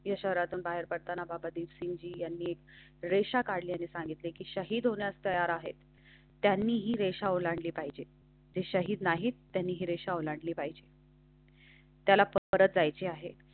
ठीक आहे शहरातून बाहेर पडताना बाबा दीपसिंगजी यांनी एक रेषा काढली आणि सांगितले की शहीद होण्यास तयार आहेत. त्यांनी ही रेषा ओलांडली पाहिजे ते शाहीद नाही. त्यांनी ही रेषा ओलांडली पाहिजे. त्याला परत जायचे आहे.